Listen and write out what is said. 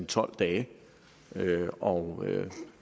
tolv dage og